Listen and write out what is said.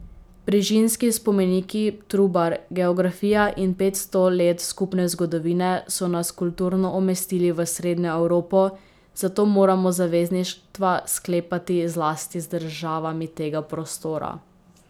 Brižinski spomeniki, Trubar, geografija in petsto let skupne zgodovine so nas kulturno umestili v Srednjo Evropo, zato moramo zavezništva sklepati zlasti z državami tega prostora.